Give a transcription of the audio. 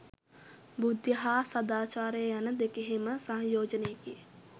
බුද්ධිය හා සදාචාරය යන දෙකෙහිම සංයෝජනයකි.